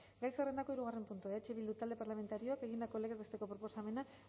gai zerrendako hirugarren puntua eh bildu talde parlamentarioak egindako legez besteko proposamena